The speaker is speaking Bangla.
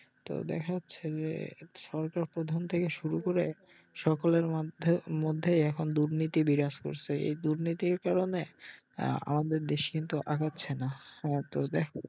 তো দেখা যাচ্ছে যে সরকার প্রধান থেকে শুরু করে সকলের মধ্যেই এখন দুর্নীতি বিরাজ করছে এই দুর্নীতির কারনে আমাদের দেশ কিন্তু আগাচ্ছে না তো যাই হোক